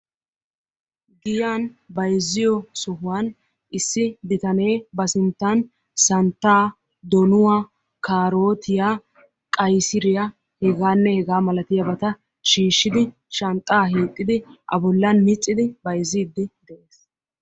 Giyan bayzziyo sohuwan issi bitane ba sinttan kaarottiya, qayssiriyanne santta shanxxan micciddi bayzzees.